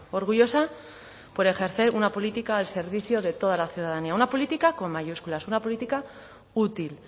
orgullosa por ejercer una política al servicio de toda la ciudadanía una política con mayúsculas una política útil